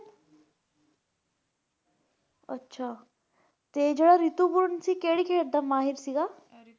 ਅੱਛਾ ਤੇ ਜਿਹੜਾ ਰਿਤੁਪਰਣ ਸੀ ਕਿਹੜੀ ਖੇਡ ਦਾ ਮਾਹਿਰ ਸੀਗਾ।